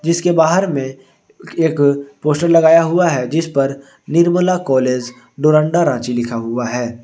इसके बाहर में एक पोस्टर लगाया हुआ है जिस पर निर्मला कॉलेज डोरंडा रांची लिखा हुआ है।